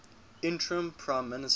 interim prime minister